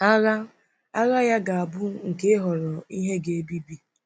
Agha Agha ya ga-abụ nke ịhọrọ ihe ga-ebibi.